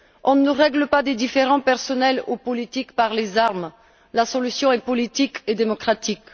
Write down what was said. On ne règle pas des différents personnels ou politiques par les armes, la solution est politique et démocratique.